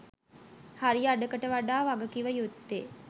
හරි අඩකට වඩා වගකිවයුත්තේ